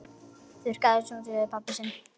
Þykist ekki þekkja pabba sinn!